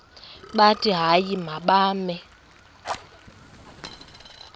bathi hayi mababe